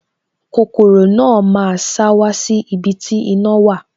Kokoro náà máa sá wá sí ibi tí iná wà